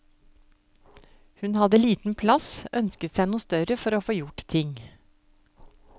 Hun hadde liten plass, ønsket seg noe større for å få gjort ting.